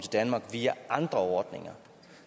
danmark via andre ordninger